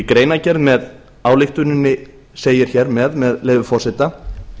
í greinargerð með ályktuninni segir með leyfi forseta